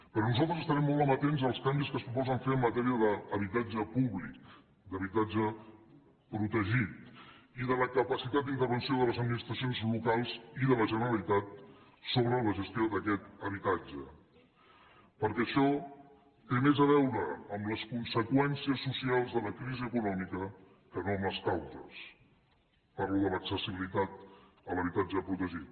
perquè nosaltres estarem molt amatents als canvis que es proposen fer en matèria d’habitatge públic d’habitatge protegit i de la capacitat d’intervenció de les administracions locals i de la generalitat sobre la gestió d’aquest habitatge perquè això té més a veure amb les conseqüències socials de la crisi econòmica que no amb les causes parlo de l’accessibilitat a l’habitatge protegit